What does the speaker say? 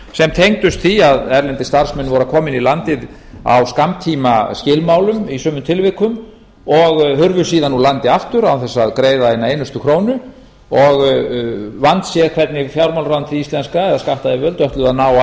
tengdust því að erlendir starfsmenn komu inn í landið á skammtímaskilmálum í sumum tilvikum og hurfu síðan úr landi aftur án þess að greiða eina einustu krónu vandséð var hvernig fjármálaráðuneytið íslenska skattyfirvöld ætlaði að ná af